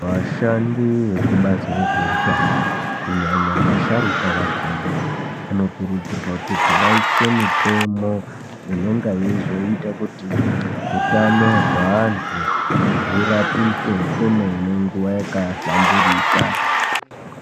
Vashandi vezvekubazi rezveutano, kunyanya-nyanya vasharuka vakhona vanokurudzirwa kuti vaise mitemo inonga yeizoita kuti hutano hwaantu hurapike kwemene nguwa yakahlamburika.